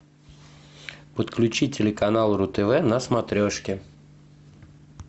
подключи телеканал ру тв на смотрешке